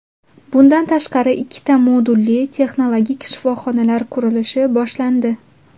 Bundan tashqari, ikkita modulli, texnologik shifoxonalar qurilishi boshlandi.